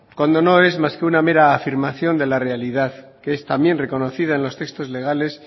cuando no es más que una mera afirmación de la realidad que es también reconocida en los textos legales